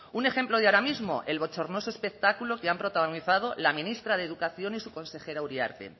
un ejemplo de ahora mismo el bochornoso espectáculo que han protagonizado la ministra de educación y su consejera uriarte